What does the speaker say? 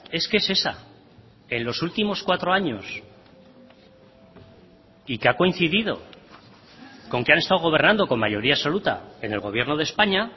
es que es esa en los últimos cuatro años y que ha coincidido con que han estado gobernando con mayoría absoluta en el gobierno de españa